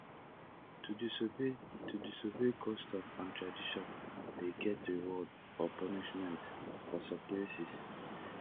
to disobey to disobey customs and traditions de get reward or punishment for some places